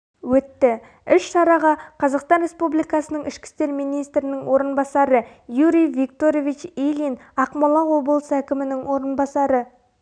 өтті іс-шараға қазақстан республикасының ішкі істер министрінің орынбасары юрий викторович ильин ақмола облысы әкімінің орынбасары